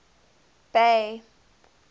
bay